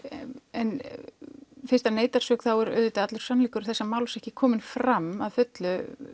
en fyrst hann neitar sök þá er auðvitað ekki allur sannleikur þessa máls ekki kominn fram að fullu